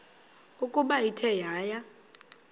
ukuba ithe yaya